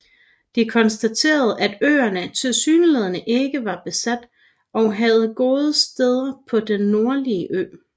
De konstaterede at øerne tilsyneladende ikke var besat og havde gode steder på den nordlige ø